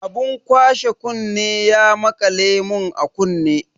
Abun kwashe kunne ya maƙale mun a kunne.